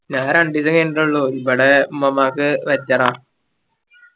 ഞാൻ രണ്ടീസം കഴിഞ്ഞീട്ടേള്ളൂ ഇവിടെ ഉമ്മാമാക്ക് pressure ആ